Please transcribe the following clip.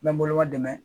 N bɛ n bolo ma dɛmɛ